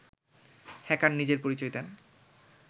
hacker নিজের পরিচয় দেন